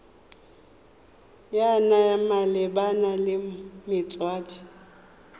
ya naga malebana le metswedi